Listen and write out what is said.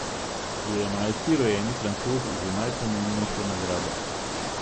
Je enajsti rojeni Francoz z najpomembnejšo nagrado.